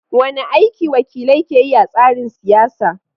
Wane aiki wakilai ke yi a tsarin siyasa?